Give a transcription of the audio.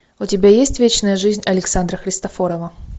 у тебя есть вечная жизнь александра христофорова